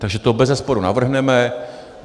Takže to bezesporu navrhneme.